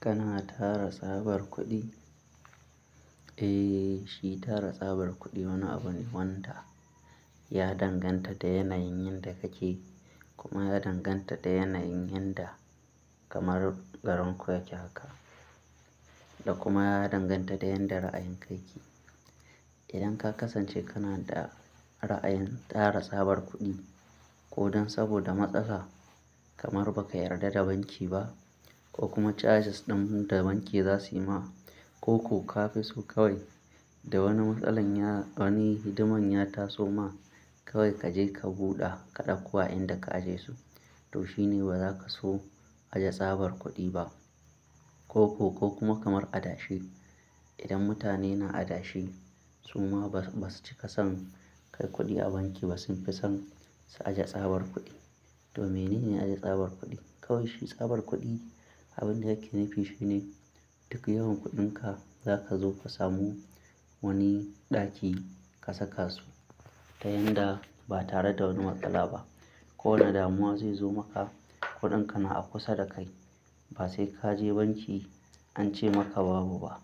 Kana tara tsabar kuɗi? Eh, shi tara tsabar kuɗi wani abu ne wanda ya danganta da yanayin yanda kake kuma ya danganta da yanayin yanda kamar garin ku yake haka da kuma ya danganta da yadda ra'ayinka yake. Idan ka kasance kana da ra'ayin tara tsabar kuɗi ko don saboda matsala kamar ba ka yarda da banki ba ko kuma charges ɗin da banki za su yi ma ko ku ka fi so kawai da wani matsala wani hidiman ya taso ma kawai ka je ka buɗe kaɗakuwa inda ka aje su, to shine ba za ka so aje tsabar kuɗi ba. Ko ku ko kuma kamar adashe, idan mutane na adashe su ma basu cika son kai kuɗi a banki basu fi son su aje tsabar kuɗi. To menene aje tsabar kuɗi? Kawai shi tsabar kuɗi abin da yake nufi shine duk yawan kuɗinka za ka zo ka samu wani ɗaki ka saka su ta yanda ba tare da wani matsala ba. Ko wane damuwa zai zo maka kuɗinka na a kusa da kai. Ba sai ka je banki an ce maka babu ba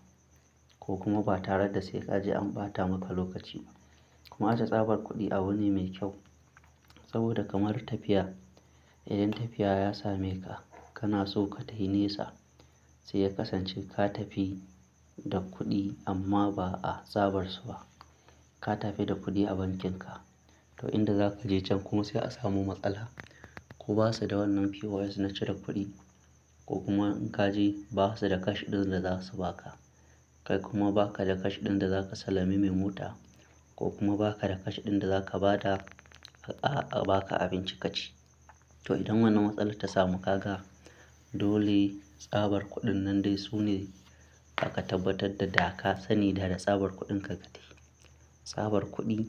ko kuma ba tare da sai ka je an ɓata maka lokaci ba. Kuma aje tsabar kuɗi abu ne mai kyau saboda kamar tafiya. Idan tafiya ya same ka, kana so ka tayi nesa sai ya kasance ka tafi da kuɗi amma ba a tsabar su ba. Ka tafi da kuɗi a bankinka to inda za ka je can kuma sai a samu matsala ko ba su da wannan POS na cire kuɗi ko kuma in ka je ba su da cash ɗin da za su ba ka. Kai kuma ba ka da cash ɗin da za ka salami mai mota ko kuma ba ka da cash ɗin da za ka ba ta a ba ka abinci ka ci. To idan wannan matsala ta samu ka ga dole tsabar kuɗin nan dai sune aka tabbatar da da ka sani da da tsabar kuɗinka ka tafi. Tsabar kuɗi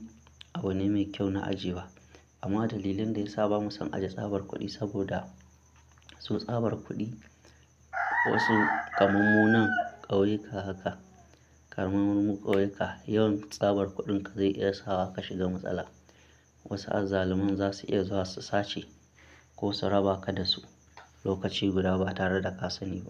abu ne mai kyau na ajiyewa amma dalilin da ya saba mu sun aje tsabar kuɗi saboda su tsabar kuɗi wasu kaman mu nan ƙauyuka haka kamar mu nan ƙauyuka yawan tsabar kuɗinka zai iya sa wa ka shiga matsala. Wasu azzaluman za su iya zuwa su sace ko su raba ka da su lokaci guda ba tare da ka sani ba.